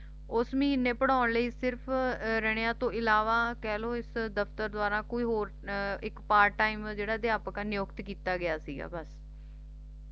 ਉਸ ਮਹੀਨੇ ਪੜ੍ਹਾਉਣ ਲਈ ਸਿਰਫ ਰਣੀਆ ਤੋਂ ਇਲਾਵਾ ਕਹਿ ਲੋ ਇਸ ਦਫਤਰ ਦੁਆਰਾ ਕੋਈ ਹੋਰ ਇੱਕ part time ਜਿਹੜਾ ਅਧਿਆਪਕ ਨਿਯੁਕਤ ਕੀਤਾ ਗਿਆ ਸੀਗਾ ਬੱਸ